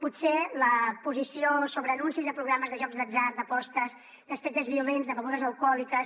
potser la posició sobre anuncis de programes de jocs d’atzar d’apostes d’aspectes violents de begudes alcohòliques